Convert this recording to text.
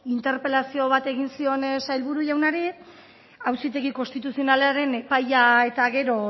interpelazio bat egin zion sailburu jaunari auzitegi konstituzionalaren epaia eta gero